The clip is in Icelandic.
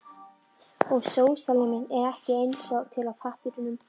Og sósíalisminn er ekki að eins til á pappírnum.